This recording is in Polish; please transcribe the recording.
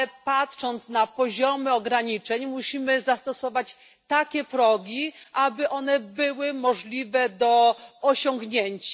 Patrząc na poziomy ograniczeń, musimy zastosować takie progi, aby one były możliwe do osiągnięcia.